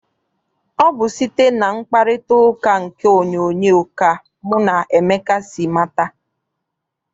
Ọ bụ site na mkparitauka nke onyoonyo ka mụ na Emeka si mata.